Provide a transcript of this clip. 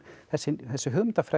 þessi þessi hugmyndafræði